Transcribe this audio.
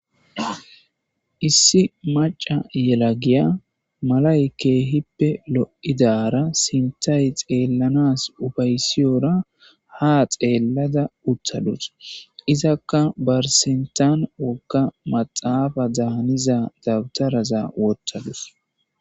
Issi maca yela giya malay keehippe lo7idara sintay xeellanas ubaysiyora ha xeellada utthadus izakka barsintan wogga maxaafa daaniza dabtaraza ooththadus.